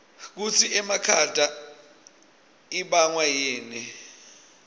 kutsi emakhata ibangwayini